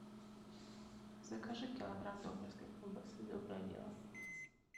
закажи килограмм докторской колбасы доброе дело